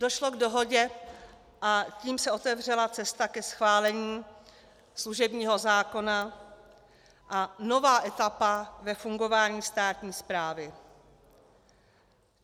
Došlo k dohodě, a tím se otevřela cesta ke schválení služebního zákona a nová etapa ve fungování státní správy.